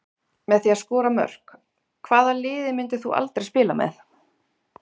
Með því að skora mörk Hvaða liði myndir þú aldrei spila með?